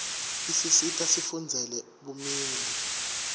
isisita sifundzele bumeli